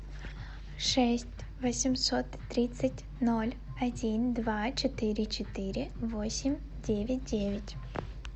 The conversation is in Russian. шесть восемьсот тридцать ноль один два четыре четыре восемь девять девять